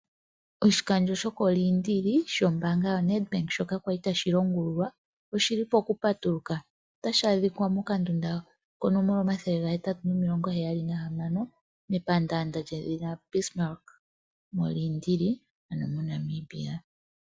Oshikandjo shokOliindili shombaanga yoNedbank shoka kwali tashi longululwa oshi li pokupatuluka. Otashi adhikwa mokandunda konomola omathele gahetatu nomilongo heyali nahamano, mepandaanda lyedhina Bismarck mOliindili ano MoNamibia.